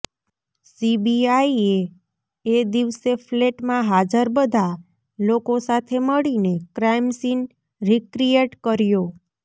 સીબીઆઈએ એ દિવસે ફ્લેટમાં હાજર બધા લોકો સાથે મળીને ક્રાઈમ સીન રિક્રિએટ કર્યો